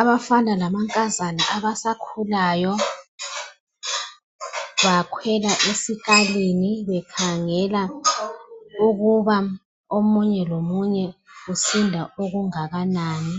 abafana lamankazana abasakhulayo bakhwela esikalini bekhangela ukuba omunye lomunye usinda okungakanani